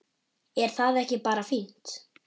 Er það ekki bara fínt?